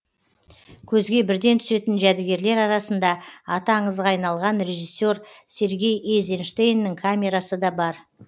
көзге бірден түсетін жәдігерлер арасында аты аңызға айналған режиссер сергей эйзенштейннің камерасы да бар